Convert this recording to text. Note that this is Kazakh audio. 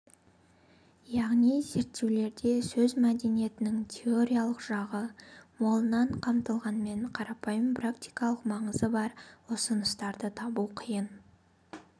яғни зерттеулерде сөз мәдениетінің теориялық жағы молынан қамтылғанымен қарапайым практикалық маңызы бар ұсыныстарды табу қиын